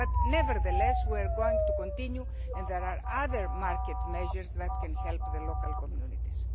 choice. Nevertheless, we are going to continue, and there are other market measures which can help the local communities.